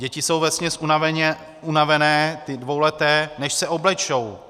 Děti jsou vesměs unavené, ty dvouleté, než se oblečou.